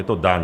Je to daň.